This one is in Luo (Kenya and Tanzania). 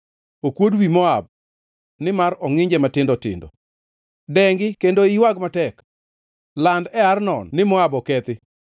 Okuod wi Moab, nimar ongʼinje matindo tindo. Dengi kendo iywag matek! Land e Arnon ni Moab okethi.